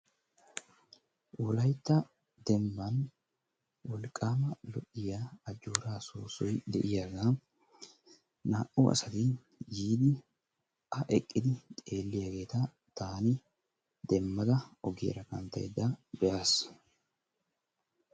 Wolaytta dembban wolqqaama lo"iya ajjooraa soossoyi de"iyagan naa"u asati yiidi A eqqidi xeelliyageeta taani demmada ogiyaara kanttaydda be'aas.